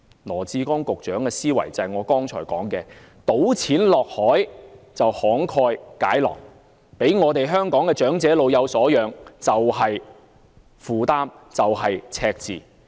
羅致光局長的思維便是我剛才所說，"倒錢落海"便慷慨解囊，讓香港的長者老有所養，卻是負擔和赤字。